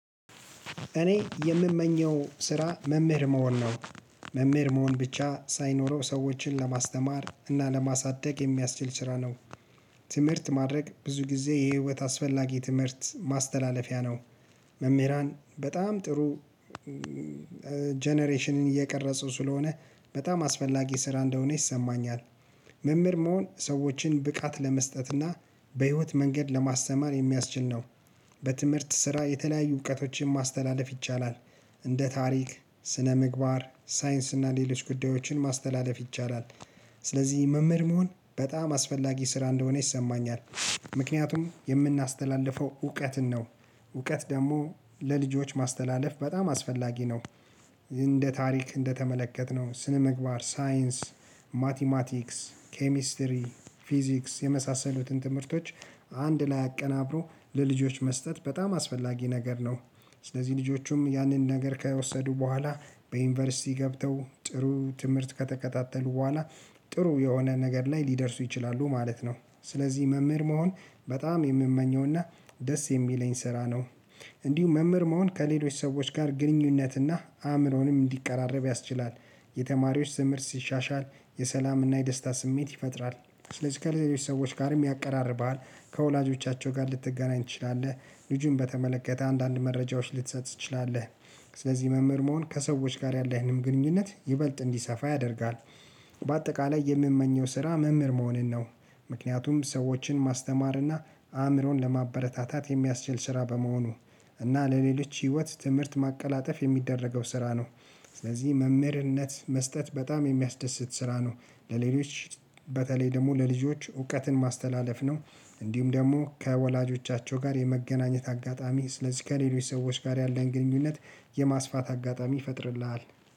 እኔ የምመኘው ስራ መምህር መሆን ነው። መምህር መሆን ብቻ ሳይሆን ሰዎችን ለማስተማር እና ለማሳደግ የሚያስችል ስራ ነው። ትምህርት ማድረግ ብዙ ጊዜ የህይወት አስፈላጊ ትምህርት ማስተላለፊያ ነው። መምህራን በጣም ጥሩ ጀነሬሽንን እየቀረጸው ስለሆነ በጣም አስፈላጊ ስራ እንደሆነ ይሰማኛል። መምህር መሆን ሰዎችን ብቃት ለመስጠትና በህይወት መንገድ ለማስተማር የሚያስችል ነው። በትምህርት ስራ የተለያዩ እውቀቶችን ማስተላለፍ ይቻላል። እንደ ታሪክ ስነ ምግባር ሳይንስ እና ሌሎች ጉዳዮችን ማስተላለፍ ይቻላል። ስለዚህ መምህር መሆን በጣም አስፈላጊ ስራ እንደሆነ ይሰማኛል። ምክንያቱም የምናስተላልፈው እውቀትን ነው። እውቀት ደግሞ ለልጆች ማስተላለፍ በጣም አስፈላጊ ነው። እንደ ታሪክ እንደተመለከትነው ስነ ምግባር ሳይንስ ማቲማቲክስ ኬሚስትሪ ፊዚክስ የመሳሰሉትን ትምህርቶች አንድ ላይ አቀናብሮ ለልጆች መስጠት በጣም አስፈላጊ ነገር ነው። ስለዚህ ልጆቹም ያንን ነገር ከወሰዱ በኋላ በዩኒቨርሲቲ ገብተው ጥሩ ትምህርት ከተከታተሉ በኋላ ጥሩ የሆነ ነገር ላይ ሊደርሱ ይችላሉ ማለት ነው። ስለዚህ መምህር መሆን በጣም የምመኘውና ደስ የሚለኝ ስራ ነው። እንዲሁ መምህር መሆን ከሌሎች ሰዎች ጋር ግንኙነትና አምሮንም እንዲቀራረብ ያስችላል። የተማሪዎች ስምርት ሲሻሻል የሰላምና የደስታ ስሜት ይፈጥራል። ስለዚህ ከሌሎች ሰዎች ጋርም ያቀራርባል። ከወላጆቻቸው ጋር ልትገናኝ ትችላለህ። ልጁን በተመለከተ አንዳንድ መረጃዎች ልትሰጥ ትችላለህ። ስለዚህ መምህር መሆን ከሰዎች ጋር ያለህንም ግንኙነት ይበልጥ እንዲሰፋ ያደርጋል። በአጠቃላይ የምመኘው ስራ መምህር መሆንን ነው። ምክንያቱም ሰዎችን ማስተማርና አእምሮን ለማበረታታት የሚያስችል ስራ በመሆኑ እና ለሌሎች ህይወት ትምህርት ማቀላጠፍ የሚደረገው ስራ ነው። ስለዚህ መምህርነት መስጠት በጣም የሚያስደስት ስራ ነው። ለሌሎች በተለይ ደግሞ ለልጆች እውቀትን ማስተላለፍ ነው። እንዲሁም ደግሞ ከወላጆቻቸው ጋር የመገናኘት አጋጣሚ ስለዚህ ከሌሎች ሰዎች ጋር ያለን ግንኙነት የማስፋት አጋጣሚ ይፈጥርልሃል።